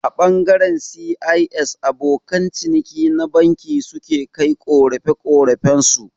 A ɓangaren C.I.S abokan ciniki na banki su ke kai ƙorafe-ƙorafen su